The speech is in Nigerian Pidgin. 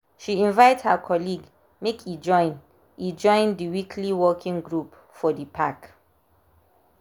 she invite her colleague make e join e join the weekly walking group for the park.